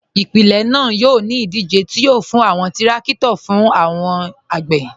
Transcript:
Ipilẹ̀ naa yọ̀ ni idije ti yọ̀ fún awọn tìrakito fún awọn agbè.